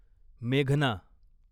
मेघना